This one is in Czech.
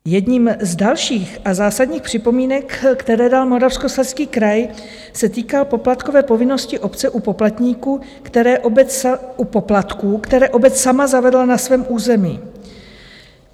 Jednou z dalších a zásadních připomínek, které dal Moravskoslezský kraj, se týká poplatkové povinnosti obce u poplatníků, které obec sama zavedla na svém území.